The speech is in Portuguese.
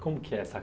Como que é essa